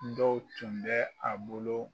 Dɔw tun bɛ a bolo